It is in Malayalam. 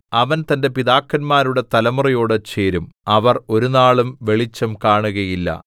അവൻ തന്റെ പിതാക്കന്മാരുടെ തലമുറയോട് ചേരും അവർ ഒരുനാളും വെളിച്ചം കാണുകയില്ല